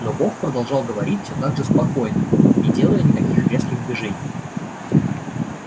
но бог продолжал говорить все так же спокойно не делая никаких резких движений